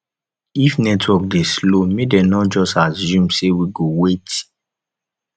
if network dey slow make dem no just assume say we go wait